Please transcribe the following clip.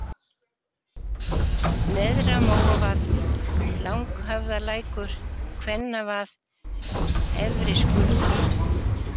Neðra-Móavað, Langhöfðalækur, Kvennavað, Efriskurður